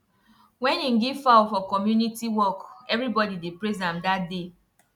when he give fowl for community work everybody dey praise am that day